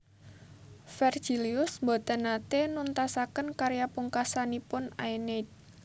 Vergilius boten naté nuntasaken karya pungkasanipun Aeneid